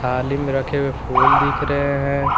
थाली में रखे हुए फूल दिख रहे हैं।